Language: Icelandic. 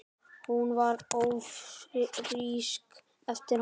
Hún varð ófrísk eftir hann.